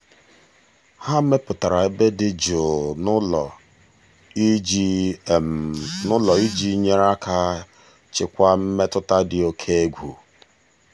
ha mepụtara ebe dị jụụ n'ụlọ iji n'ụlọ iji nyere aka chịkwaa mmetụta dị oke egwu.